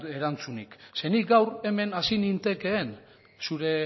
erantzunik nik gaur hemen hasi nintekeen zure